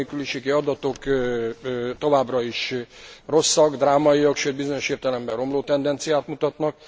A munkanélküliségi adatok továbbra is rosszak, drámaiak, sőt bizonyos értelemben romló tendenciát mutatnak.